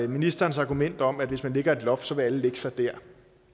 ministerens argument om at hvis man lægger et loft vil alle lægge sig dér